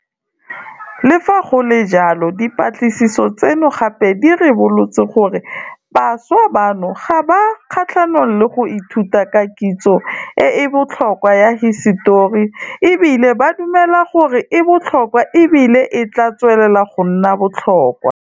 Le fa go le jalo, dipatlisiso tseno gape di ribolotse gore bašwa bano ga ba kgatlhanong le go ithuta ka kitso e e botlhokwa ya hisetori e bile ba dumela gore e botlhokwa e bile e tla tswelela go nna botlhokwa.